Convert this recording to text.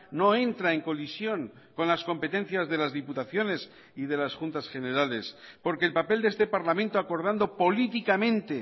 no entra en colisión con las competencias de las diputaciones y de las juntas generales porque el papel de este parlamento acordando políticamente